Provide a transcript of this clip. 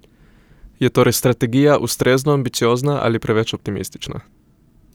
Je torej strategija ustrezno ambiciozna ali preveč optimistična?